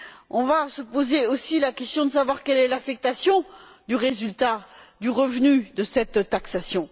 On va se poser aussi la question de savoir quelle sera l'affectation du résultat du revenu de cette taxation.